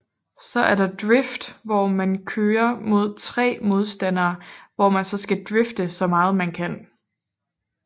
Så er der Drift hvor man køre mod 3 modstandere hvor man så skal drifte så meget man kan